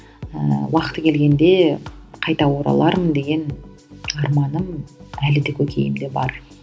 ыыы уақыты келгенде қайта оралармын деген арманым әлі де көкейімде бар